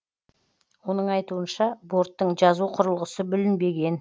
оның айтуынша борттың жазу құрылғысы бүлінбеген